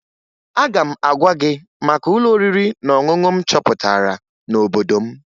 Aga m agwa gị maka ụlọ oriri na ọṅụṅụ m chọpụtara n'obodo m